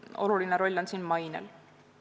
Oluline roll on siin mainel.